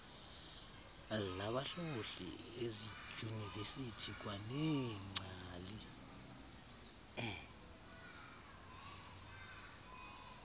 labahlohli ezidyunivesiti kwaneengcali